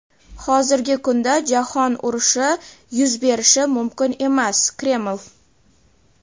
Hozirgi kunda Jahon urushi yuz berishi mumkin emas — Kreml.